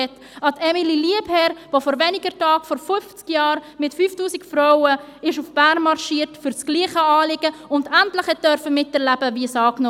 um an Emilie Lieberherr zu erinnern, die vor wenigen Tagen vor 50 Jahren für dasselbe Anliegen mit 5000 Frauen nach Bern marschierte und endlich miterleben durfte, wie das Frauenstimmrecht angenommen wurde;